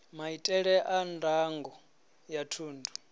maitele a ndango ya thundu